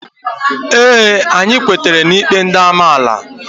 Ee, anyị kwetara n'ikpe ndị amaala